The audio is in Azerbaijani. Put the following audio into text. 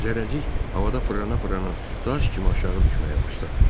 Zərrəcik havada fırlana-fırlana daş kimi aşağı düşməyə başladı.